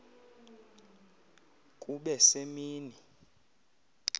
kube se mini